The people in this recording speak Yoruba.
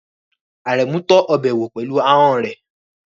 Aremu tọ́ ọbẹ̀ wò pẹ̀lú ahọ́n rẹ̀.